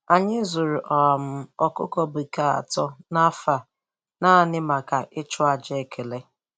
Anyị zụrụ um ọkụkọ bekee atọ n'afọ a naanị maka naanị maka iji chụọ aja ekele